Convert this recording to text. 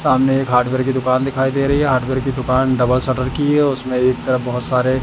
सामने एक हार्डवेयर की दुकान दिखाई दे रही है हार्डवेयर की दुकान डबल शटर की है उसमें एक तरफ बहोत सारे--